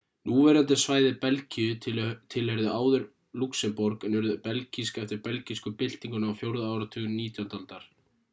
núverandi svæði belgíu tilheyrðu áður lúxemborg en urðu belgísk eftir belgísku byltinguna á 4. áratug 19. aldar